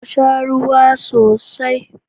Ku sha ruwa sosai.